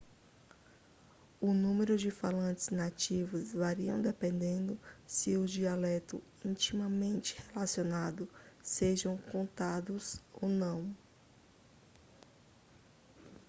o número de falantes nativos varia dependendo se os dialetos intimamente relacionados sejam contados ou não